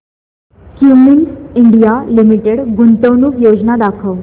Cummins India Limited गुंतवणूक योजना दाखव